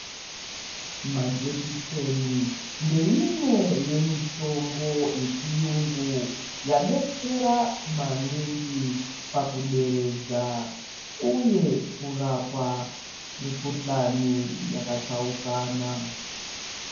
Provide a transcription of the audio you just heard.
Majekiseni ndeimwe yemitombo yechiyungu yadetsera maningi pakuderedza uye kurapa mikhuhlani yaka tsaukana.